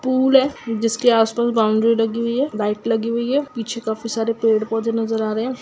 Pool है जिसके आस पास बौंड़री लगी हुई है लाइट लगी हुई है पीछे काफी सारे पेड़ पौधे नजर आ रहे है।